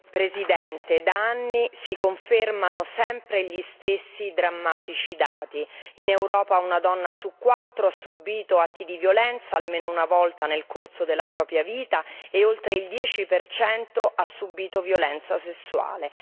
Signor Presidente, onorevoli colleghi, da anni si confermano sempre gli stessi drammatici dati in Europa una donna su quattro ha subito atti di violenza almeno una volta nel corso della propria vita e oltre il 10 ha subito violenza sessuale.